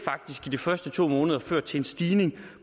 i de første to måneder har ført til en stigning